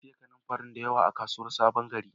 Na siya kananfarin da yawa a kasuwan sabon gari